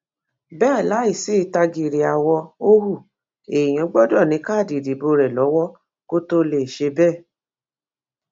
bẹẹ láì sì tágíìrì àwọ ò hu èèyàn gbọdọ ní káàdì ìdìbò rẹ lọwọ kó tóó lè ṣe bẹẹ